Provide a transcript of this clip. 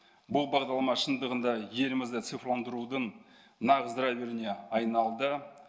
бұл бағдарлама шындығында елімізді цифрландырудың нағыз драйверіне айналды